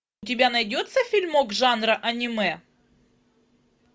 у тебя найдется фильмок жанра аниме